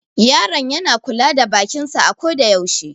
Yaron yana kula da bakin sa a ko da yaushe.